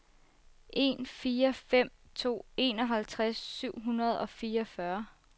en fire fem to enoghalvtreds syv hundrede og fireogfyrre